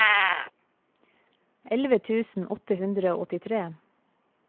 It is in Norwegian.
elleve tusen åtte hundre og åttitre